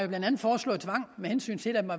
den forstand